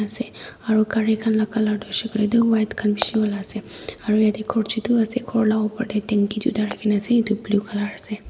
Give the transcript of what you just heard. ase aro cari kan laka color tu hoishae koile tu white kan bishi wala ase aro yete ghor chutu ase ghor la upor de tanki tuita raki na ase etu blue color ase.